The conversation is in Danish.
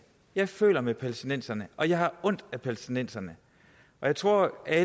jeg føler med palæstinenserne og jeg har ondt af palæstinenserne jeg tror at